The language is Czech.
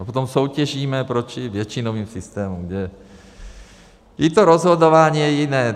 A potom soutěžíme proti většinovým systémům, kde i to rozhodování je jiné.